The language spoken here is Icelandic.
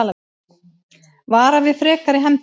Vara við frekari hefndum